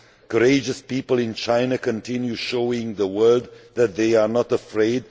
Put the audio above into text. courageous people in China continue showing the world that they are not afraid.